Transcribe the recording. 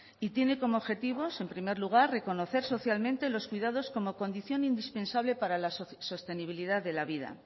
tiene como objetivo en primer lugar reconocer socialmente los cuidados como condición indispensable para la sostenibilidad de la vida